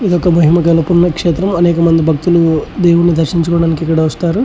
ఇది ఒక మహిమ గల పుణ్యక్షేత్రం అనేక మంది భక్తులు దేవుణ్ణి దర్శిందుకోడానికి ఇక్కడికి వస్తారు.